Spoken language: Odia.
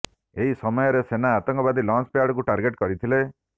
ଏହି ସମୟରେ ସେନା ଆତଙ୍କବାଦୀ ଲଞ୍ଚ ପ୍ୟାଡକୁ ଟାର୍ଗେଟ କରିଥିଲେ